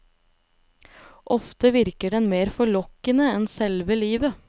Ofte virker den mer forlokkende enn selve livet.